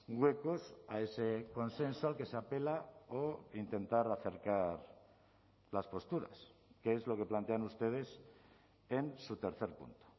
huecos a ese consenso al que se apela o intentar acercar las posturas que es lo que plantean ustedes en su tercer punto